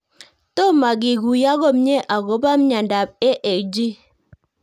Tomokekuyo komie akopo miondop AAG